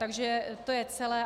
Takže to je celé.